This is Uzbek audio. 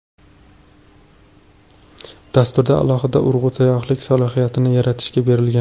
Dasturda alohida urg‘u sayyohlik salohiyatini yaratishga berilgan.